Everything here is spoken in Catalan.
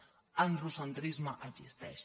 l’androcentrisme exis·teix